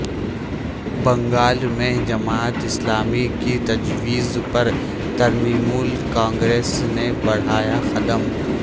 بنگال میں جماعت اسلامی کی تجویز پر ترنمول کانگریس نے بڑھایا قدم